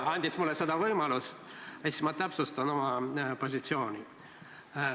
Kuna mul on see võimalus, siis ma täpsustan oma positsiooni.